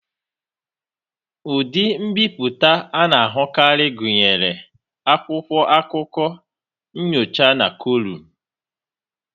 Ụdị mbipụta a na-ahụkarị gụnyere akwụkwọ akụkọ, nnyocha na kọlụm.